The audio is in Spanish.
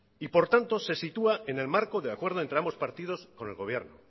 y por tanto se sitúa en el marco de acuerdo entre ambos partidos con el gobierno